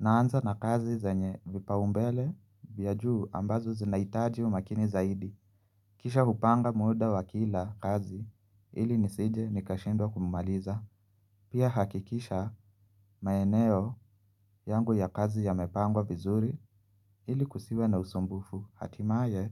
Naanza na kazi zenye vipaombele vya juu ambazo zinahitaji umakini zaidi. Kisha hupanga muda wa kila kazi ili nisije nikashindwa kuumaliza. Pia nahakikisha maeneo yangu ya kazi yamepangwa vizuri ili kusiwe na usumbufu. Hatimaye